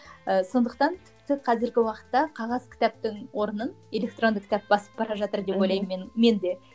ы сондықтан тіпті қазіргі уақытта қағаз кітаптың орнын электронды кітап басып бара жатыр деп ойлаймын мен мен де